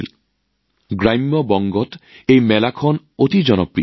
এই মেলাখন বংগৰ গ্ৰামাঞ্চলত অতি জনপ্ৰিয়